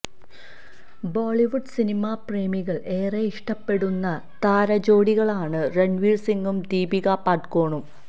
ബോളിവുഡ് സിനിമാ പ്രേമികള് ഏറെയിഷ്ടപ്പെടുന്ന താരജോഡികളാണ് രണ്വീര് സിംഗും ദീപികാ പദുകോണും